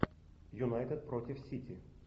юнайтед против сити